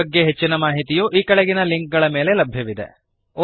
ಇದರ ಬಗ್ಗೆ ಹೆಚ್ಚಿನ ಮಾಹಿತಿಯು ಈ ಕೆಳಗಿನ ಲಿಂಕ್ ಗಳ ಮೇಲೆ ಲಭ್ಯವಿದೆ